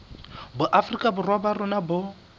boafrika borwa ba rona bo